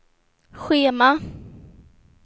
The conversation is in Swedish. schema